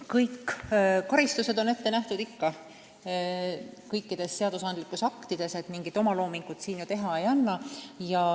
Kõik karistused on ette nähtud õigusaktides, mingit omaloomingut siin teha ei anna.